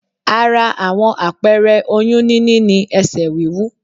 Ara àwọn apẹẹrẹ oyún níní ni ẹsẹ̀ wíwú